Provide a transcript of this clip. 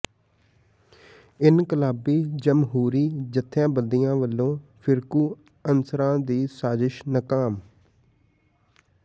ਇਨਕਲਾਬੀ ਜਮਹੂਰੀ ਜੱਥੇਬੰਦੀਆਂ ਵੱਲੋਂ ਫਿਰਕੂ ਅਨਸਰਾਂ ਦੀ ਸਾਜਿਸ਼ ਨਾਕਾਮ